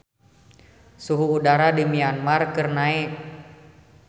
Suhu udara di Myanmar keur naek